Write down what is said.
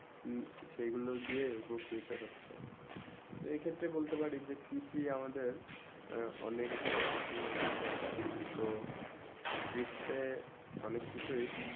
সেই গুলু দিয়ে পরোক্ষ নিতে হচ্ছেই এই ক্ষেত্রে বলতে পারি কৃষি আমাদের অনেক একটি অপ্রসন্ন বিষয়ে তো কৃষি তে অনেক কিছু ই